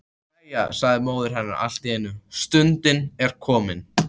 Jæja, sagði móðir hennar allt í einu,-stundin er komin.